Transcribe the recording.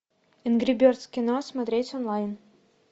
энгри бердс кино смотреть онлайн